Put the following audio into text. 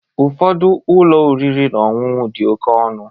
Ụfọdụ ụlọ oriri na ọṅụṅụ dị oke ọnụ